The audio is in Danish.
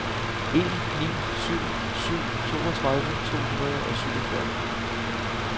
en ni syv syv toogtredive to hundrede og syvogfyrre